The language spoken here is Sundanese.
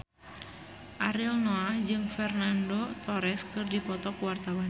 Ariel Noah jeung Fernando Torres keur dipoto ku wartawan